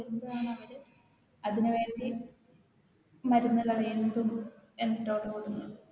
ളാണവര് അതിനുവണ്ടി മര്ന്നെല്ലാം